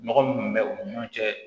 Nɔgɔ min bɛ u ni ɲɔgɔn cɛ